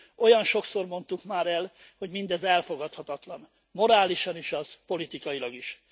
Olyan sokszor mondtuk már el, hogy mindez elfogadhatatlan, morálisan is, politikailag is.